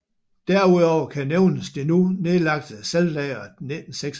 Derudover kan nævnes det nu nedlagte Saltlageret 1986